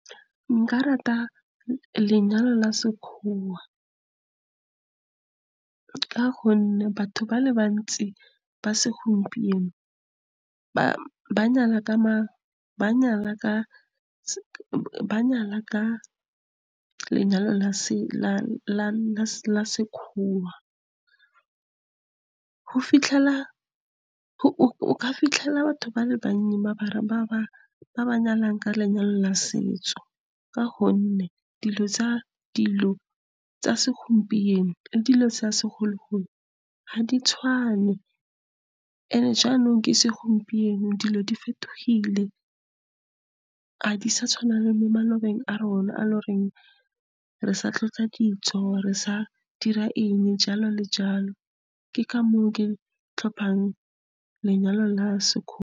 Nka rata lenyalo la sekgowa ka gonne batho ba le bantsi ba segompieno, ba nyala ka lenyalo la Sekgowa. o ka fitlhela batho ba le bannye mare ba nyalanegka lenyalo la setso, ka gonne dilo tsa segompieno le dilo tsa segologolo ga di tshwane. And-e jaanong ke segompieno, dilo di fetogile, ga di sa tshwana le mo malobeng a rona, a e le goreng re sa tlhotlha dijo jalo le jalo. Ke ka moo ke tlhophang lenyalo la Sekgowa.